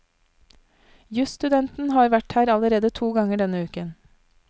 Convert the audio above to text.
Jusstudenten har vært her allerede to ganger denne uken.